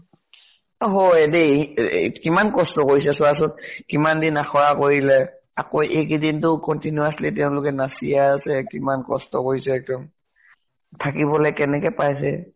এ হয় দেই । এ এ কিমান কস্ত কৰিছে, চোৱাচোন । কিমান দিন আখৰা কৰিলে আকৌ এইকেইদিন তো continuously তেওঁলোকে নাচিয়ে আছে । কিমান কস্ত কৰিছে একদম । থাকিবলৈ কেনেকে পাইছে ।